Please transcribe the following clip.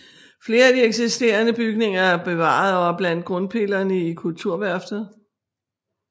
Flere af de eksisterende bygninger er bevaret og er blandt grundpillerne i Kulturværftet